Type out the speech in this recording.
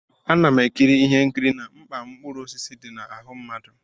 Ana m ekiri ihe nkiri na mkpa mkpụrụ osisi dị na ahụ mmadụ.